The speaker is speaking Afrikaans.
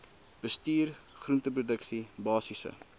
bestuur groenteproduksie basiese